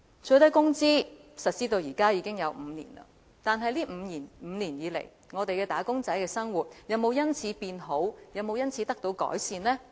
最低工資實施至今已5年，在這5年間，"打工仔"的生活有否因此得到改善呢？